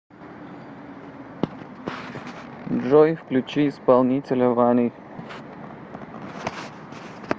джой включи исполнителя вани